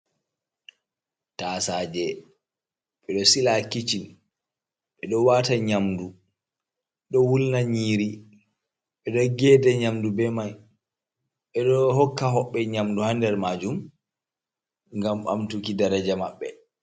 Tasaje ɓe ɗo sila ha kiccin, ɓe ɗo wata nyamɗu ɗo wulna nyiri ,ɓe ɗo geɗe nyamɗu be mai ɓe ɗo hokka hoɓɓe nyamɗu ha ɗer majum gam ɓamtuki daraja maɓɓe.